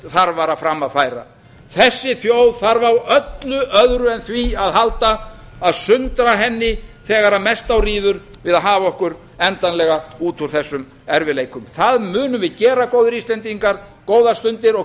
þarfara fram að færa þessi þjóð þarf á öllu öðru en því að halda að sundra henni þegar mest á ríður við að hafa okkur endanlega út úr þessum erfiðleikum það munum við gera góðir íslendingar góðar stundir og